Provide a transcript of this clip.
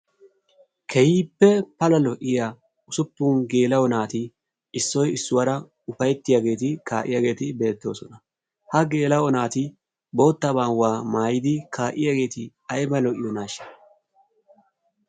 Keehippe pala lo"iya ussupun geela"o naati issoy issuwaara upayttiyaageeti kaa'iyaageeti beettooosona.ha geelaa"o naati boottaa maayyuwaaayyidi kaa'iyaageeti aybba lo''iyoonashsha!